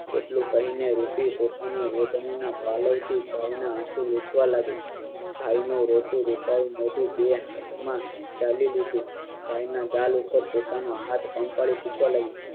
એટલું કહીને રૂટી પોતાના રોતણી ના પાલવતી ભાઇ ના આસું લુછવા લાગી ભાઈ નું રોતું રૂખાયેલ મોઠું બે આંખ માં જાળી લીધું ભાઈ ના ગાલ ઉપર પોતાનો હાથ પંપાળી પૂછવા લાગી